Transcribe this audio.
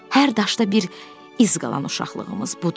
Hər daşda bir iz qalan uşaqlığımız budur.